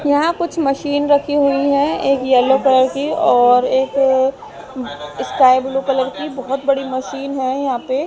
यहां कुछ मशीन रखी हुई है एक येलो कलर की और एक स्काई ब्लू कलर की बहोत बड़ी मशीन है यहां पे--